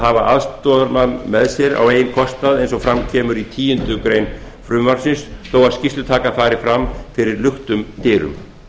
hafa með sér aðstoðarmann á eigin kostnað eins og fram kemur í tíundu greinar frumvarpsins þó að skýrslutakan fari fram fyrir luktum dyrum